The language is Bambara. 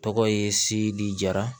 Tɔgɔ ye sidi jara